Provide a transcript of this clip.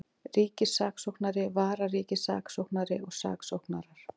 Ríkissaksóknari, vararíkissaksóknari og saksóknarar.